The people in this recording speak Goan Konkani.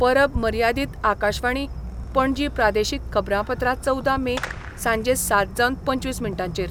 परब मर्यादीत आकाशवाणी, पणजी प्रादेशीक खबरांपत्र चवदा मे, सांजे सात जावन पंचवीस मिनटांचेर